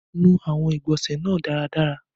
Nù awọ̀ igbọ́nse nàà daradara!